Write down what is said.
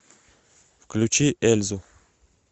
включи эльзу